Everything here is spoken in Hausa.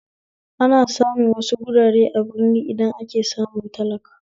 Ana samu wasu wurare a birni idan ake samun talakawa